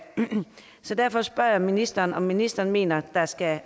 så derfor spørge ministeren om ministeren mener at der skal